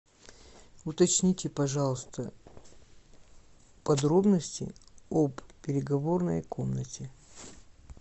уточните пожалуйста подробности об переговорной комнате